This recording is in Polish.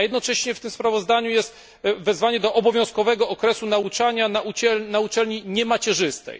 A jednocześnie w tym sprawozdaniu jest wezwanie do obowiązkowego okresu nauczania na uczelni niemacierzystej.